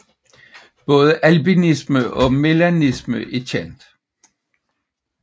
Både albinisme og melanisme er kendt